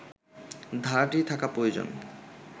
ধারাটি থাকা প্রয়োজন